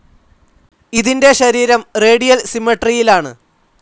ഇതിൻ്റെ ശരീരം റേഡിയൽ സിമട്രിയിലാണ്.